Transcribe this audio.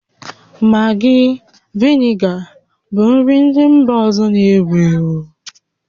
Maggi, vinega bụ nri ndị mba ọzọ na-ewu ewu